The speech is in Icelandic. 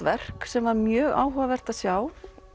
verk sem var mjög áhugavert að sjá